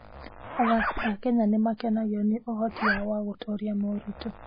Athaki a Kenya nĩ makenagio nĩ ũhoti wao wa gũtooria moritũ.